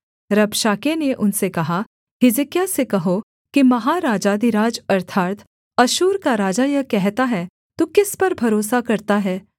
रबशाके ने उनसे कहा हिजकिय्याह से कहो कि महाराजाधिराज अर्थात् अश्शूर का राजा यह कहता है तू किस पर भरोसा करता है